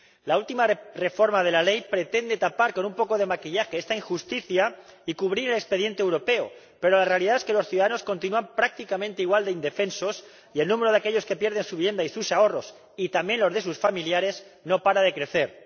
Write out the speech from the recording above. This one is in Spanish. La última reforma de la ley pretende tapar con un poco de maquillaje esta injusticia y cubrir el expediente europeo, pero la realidad es que los ciudadanos continúan prácticamente igual de indefensos y el número de aquellos que pierden su vivienda y sus ahorros, y también los de sus familiares, no para de crecer.